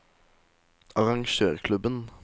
arrangørklubben